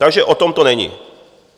Takže o tom to není.